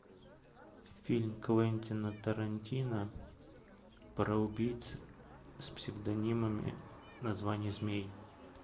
фильм квентина тарантино про убийц с псевдонимами названий змей